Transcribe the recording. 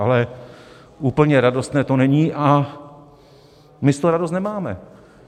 Ale úplně radostné to není a my z toho radost nemáme.